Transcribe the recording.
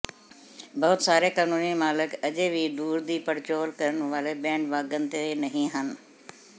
ਬਹੁਤ ਸਾਰੇ ਕਾਨੂੰਨੀ ਮਾਲਕ ਅਜੇ ਵੀ ਦੂਰ ਦੀ ਪੜਚੋਲ ਕਰਨ ਵਾਲੇ ਬੈਂਡਵਾਗਨ ਤੇ ਨਹੀਂ ਹਨ